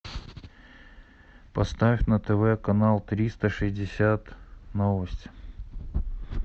поставь на тв канал триста шестьдесят новости